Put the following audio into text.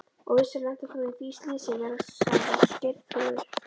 Og vissulega lentir þú í því slysi, veslings Geirþrúður.